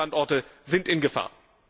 Und weitere Standorte sind in Gefahr.